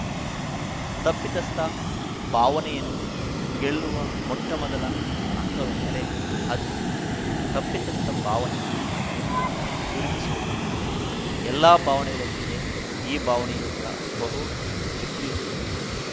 ತಪ್ಪಿತಸ್ಥ ಭಾವನೆಯನ್ನು ಗೆಲ್ಲುವ ಮೊಟ್ಟಮೊದಲ ಹಂತವೆಂದರೆ ಅದು ತಪ್ಪಿತಸ್ಥ ಭಾವನೆ ಎಂದು ಗುರುತಿಸುವುದು ಎಲ್ಲಾ ಭಾವನೆಗಳಂತೆಯೇ ಈ ಭಾವನೆಯೂ ಬಹು ಶಕ್ತಿಯುತವೇ